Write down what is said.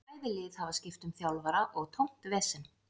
Bæði lið hafa skipt um þjálfara og tómt vesen.